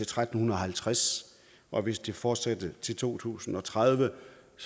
tretten halvtreds og hvis det fortsætter til to tusind og tredive